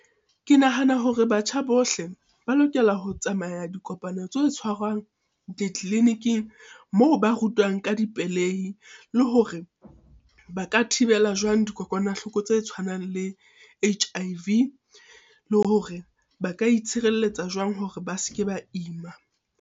Ke nahana hore batjha bohle ba lokela ho tsamaya dikopano tse tshwarwang ditleliniking, moo ba rutwang ka dipelehi le hore ba ka thibela jwang dikokwanahloko tse tshwanang le H_I_V. Le hore ba ka itshireletsa jwang hore ba se ke ba ima.